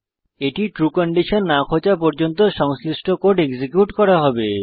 এটি true condition না খোঁজা পর্যন্ত সংশ্লিষ্ট কোড এক্সিকিউট করা হবে